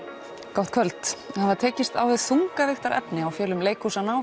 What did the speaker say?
gott kvöld það var tekist á við þungavigtarefni á fjölum leikhúsanna á